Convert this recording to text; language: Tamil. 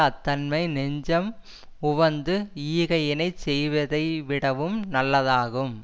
அத்தன்மை நெஞ்சம் உவந்து ஈகையினைச் செய்வதை விடவும் நல்லதாகும்